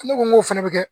Ne ko n ko fɛnɛ be kɛ